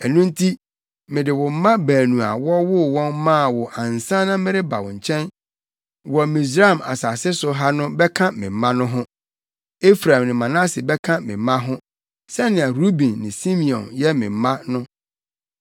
“Ɛno nti, mede wo mma baanu a wɔwoo wɔn maa wo ansa na mereba wo nkyɛn wɔ Misraim asase so ha no bɛka me mma no ho. Efraim ne Manase bɛka me mma ho, sɛnea Ruben ne Simeon yɛ me mma no.